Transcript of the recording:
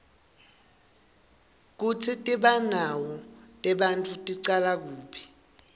kutsi tibonao tebantfu ticala kuphi